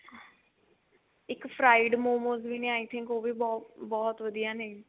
ਇੱਕ fried momos ਵੀ ਨੇ i think ਉਹ ਵੀ ਬਹੁਤ ਵਧੀਆ ਨੇ